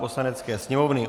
Poslanecké sněmovny